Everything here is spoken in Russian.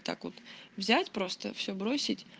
так вот взять просто всё бросить